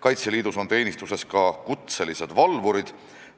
Kaitseliidus on teenistuses ka kutselised valvurid,